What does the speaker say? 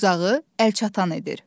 Uzağı əlçatan edir.